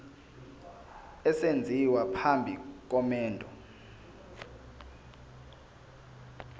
esenziwa phambi komendo